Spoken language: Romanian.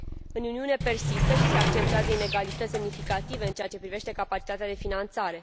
În Uniune persistă și se accentuează inegalități semnificative în ceea ce privește capacitatea de finanțare.